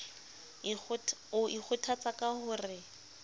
o ikgothatsa ka ho re